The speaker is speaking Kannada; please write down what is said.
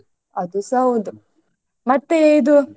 ಅದೂಸ ಹೌದು ಮತ್ತೆ ಇದು.